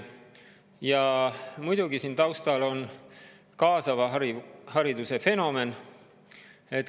Ja muidugi on siin taustal kaasava hariduse fenomen.